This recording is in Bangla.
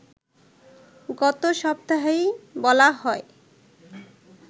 গত সপ্তাহেই বলা হয়